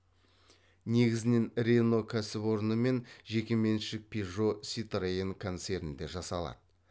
негізінен рено кәсіпорны мен жеке меншік пежо ситроен концернде жасалады